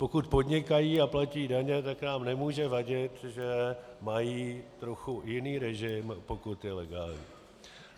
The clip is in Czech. Pokud podnikají a platí daně, tak nám nemůže vadit, že mají trochu jiný režim, pokud je legální.